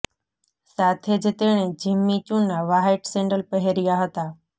સાથે જ તેણે જિમ્મી ચૂના વ્હાઈટ સેન્ડલ પહેર્યા હતા